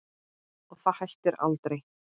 Og það hættir aldrei.